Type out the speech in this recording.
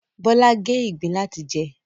Bọ́lá gé ìgbín láti jẹ